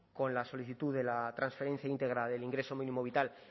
con la solicitud de la transferencia íntegra del ingreso mínimo vital